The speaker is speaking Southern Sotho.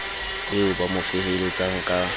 eo ba mo feheletsang ka